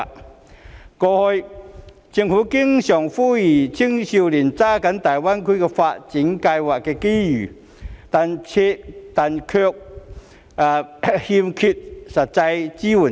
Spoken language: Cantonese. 政府過去經常呼籲青少年要抓緊大灣區的發展機遇，但卻欠缺實際支援。